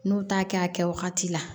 N'u t'a kɛ a kɛ wagati la